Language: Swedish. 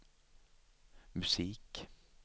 musik